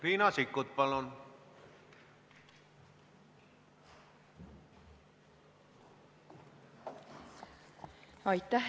Riina Sikkut, palun!